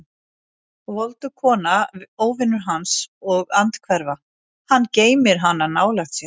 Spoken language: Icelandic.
Voldug kona, óvinur hans og andhverfa: hann geymir hana nálægt sér.